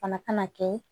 Fana kana kɛ